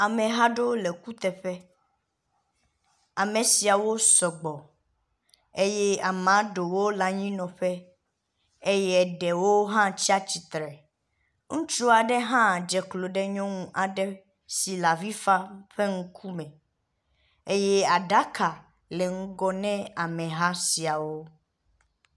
Ameha aɖewo le kuteƒe. Ame siawo sɔgbɔ eye amea ɖewo le anyinɔƒe eye eɖewo hã tsi atsitre. Ŋutsua ɖe hã dze klo ɖe nyɔnu aɖe si le avi fam ƒe ŋkume. Eye aɖaka le ŋgɔ ne ameha siawo.